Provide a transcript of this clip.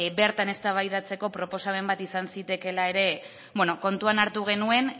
bertan eztabaidatzeko proposamen bat izan zitekeela ere kontuan hartu genuen